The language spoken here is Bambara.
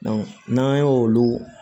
n'an y'o olu